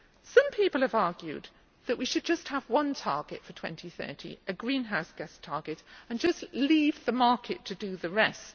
Some people have argued that we should just have one target for 2020 a greenhouse gas target and just leave the market to do the rest.